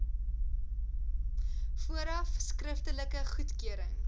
vooraf skriftelike goedkeuring